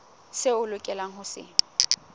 seo a lokelang ho se